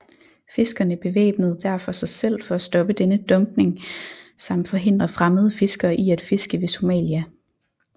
Fiskerne bevæbnede derfor sig selv for at stoppe denne dumpning samt forhindre fremmede fiskere i at fiske ved Somalia